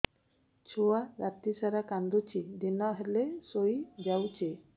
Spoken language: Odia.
ଛୁଆ ରାତି ସାରା କାନ୍ଦୁଚି ଦିନ ହେଲେ ଶୁଇଯାଉଛି